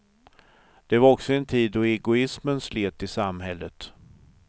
Det var också en tid då egoismen slet i samhället.